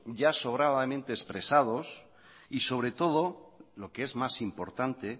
ya sobradamente expresados y sobre todo lo que es más importante